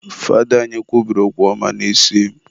Fada anyị kwubiri okwu ọma n'isi m